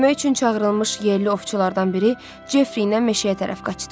Kömək üçün çağırılmış yerli ovçulardan biri Jeffri ilə meşəyə tərəf qaçdı.